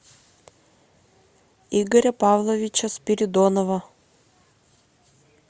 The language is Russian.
игоря павловича спиридонова